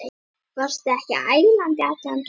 Varstu ekki ælandi allan túrinn?